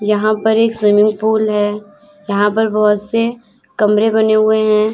यहां पर एक स्विमिंग पूल है यहां पर बहोत से कमरे बने हुए हैं।